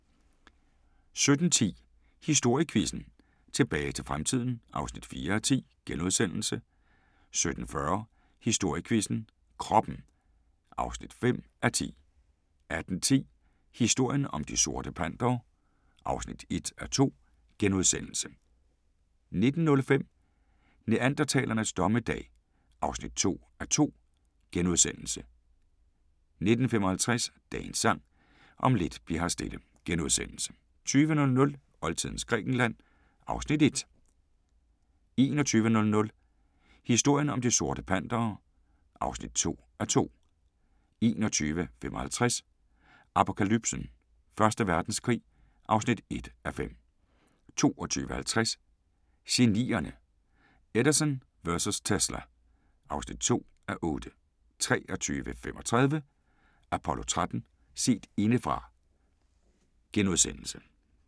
17:10: Historiequizzen: Tilbage til fremtiden (4:10)* 17:40: Historiequizzen: Kroppen (5:10) 18:10: Historien om De Sorte Pantere (1:2)* 19:05: Neandertalernes dommedag (2:2)* 19:55: Dagens Sang: Om lidt bli'r her stille * 20:00: Oldtidens Grækenland (Afs. 1) 21:00: Historien om De Sorte Pantere (2:2) 21:55: Apokalypsen: Første Verdenskrig (1:5) 22:50: Genierne: Edison vs. Tesla (2:8) 23:35: Apollo 13: Set indefra *